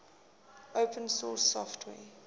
open source software